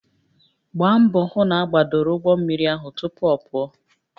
Gbaa mbọ hụ na agbadoro ụgbọ mmiri ahụ tupu ọ pụọ